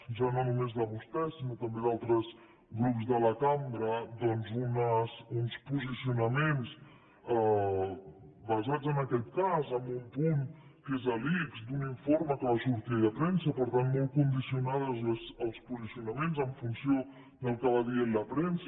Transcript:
ja no només de vostès sinó també d’altres grups de la cambra doncs uns posicionaments basats en aquest cas en un punt que és de l’ics d’un informe que va sortir ahir a premsa per tant molt condicionats els posicionaments en funció del que va dient la premsa